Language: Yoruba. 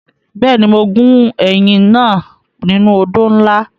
Bẹ́ẹ̀ni, mo gún ẹyìn náà nínú odó ńlá.